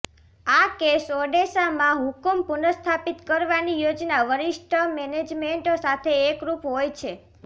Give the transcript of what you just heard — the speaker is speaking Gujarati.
આ કેસ ઑડેસા માં હુકમ પુનઃસ્થાપિત કરવાની યોજના વરિષ્ઠ મેનેજમેન્ટ સાથે એકરુપ હોય છે